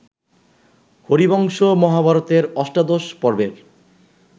হরিবংশ মহাভারতের অষ্টাদশ পর্বের